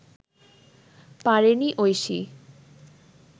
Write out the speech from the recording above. পারেনি ঐশী